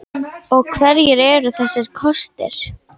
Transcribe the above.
Og hverjir eru þessir kostir?